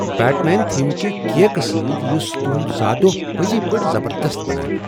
Bat main theme کہ cake سۭتۍ یس تہنٛد زاہ دوہ پٔزۍ پٲٹھۍ زبردست بناوِہ۔